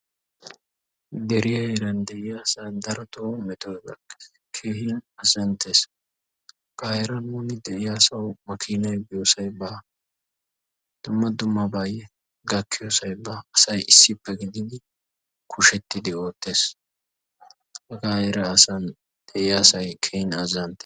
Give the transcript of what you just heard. Deriyaa heeran de'iyaasaa darotoo metoy gakkes keehin azanttes hagaa heeran woni de'yaasawu makiinay biyoosay baa dumma dummabay gakkiyoosay baa asay issippe gididi kushettidi oottes hagaa heran de'iyaa asay keehin azzanttes.